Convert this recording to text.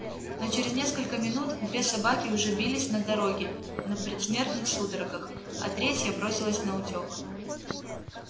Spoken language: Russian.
но через несколько минут две собаки уже бились на дороге на предсмертных судорогах а третья бросилась наутёк